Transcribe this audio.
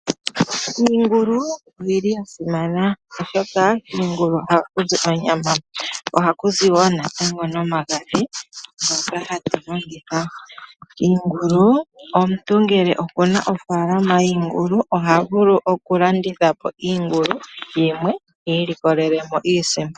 Iingulu oya simana, oshoka kiingulu ohaku zi onyama nohaku zi wo omagadhi ngoka hatu longitha. Omuntu ngele oku na ofaalama yiingulu oha vulu okulanditha po iingulu yimwe i ilikolele mo iisimpo.